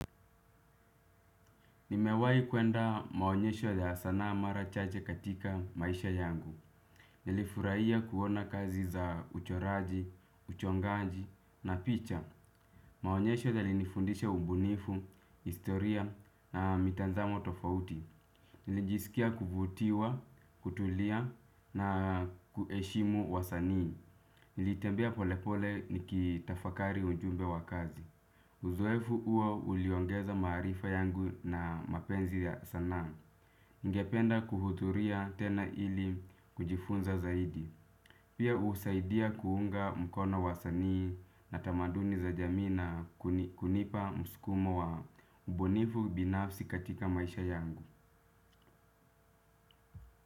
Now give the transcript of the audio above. Nimewahi kuenda maonyesho ya sanaa mara chache katika maisha yangu. Nilifurahia kuona kazi za uchoraji, uchongaji na picha. Maonyesho yalinifundisha ubunifu, historia na mitazamo tofauti. Nilijisikia kuvutiwa, kutulia na kuheshimu wasanii. Nilitembea polepole nikitafakari ujumbe wa kazi. Uzoefu huo uliongeza maarifa yangu na mapenzi ya sanaa. Ningependa kuhudhuria tena ili kujifunza zaidi. Pia husaidia kuunga mkona wasani na tamaduni za jamii na kunipa muskumo wa ubunifu binafsi katika maisha yangu.